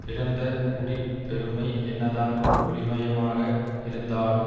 பிறந்த குடி பெருமை என்னதான் ஒளிமயமாக இருந்தாலும்